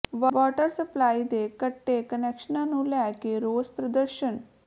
water supply ਦੇ ਕੱਟੇ ਕੁਨੈਕਸ਼ਨਾਂ ਨੂੰ ਲੈ ਕੇ ਰੋਸ ਪ੍ਰਦਰਸ਼ਨ